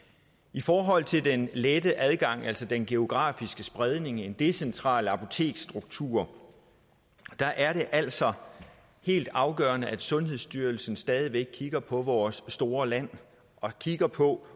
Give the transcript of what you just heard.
i forhold til den lette adgang altså den geografiske spredning en decentral apoteksstruktur er det altså helt afgørende at sundhedsstyrelsen stadig væk kigger på vores store land og kigger på